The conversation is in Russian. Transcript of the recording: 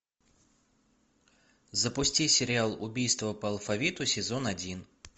запусти сериал убийство по алфавиту сезон один